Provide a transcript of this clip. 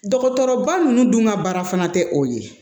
Dɔgɔtɔrɔba ninnu dun ka baara fana tɛ o ye